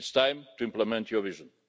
It's time to implement your vision.